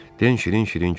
Den şirin-şirin güldü.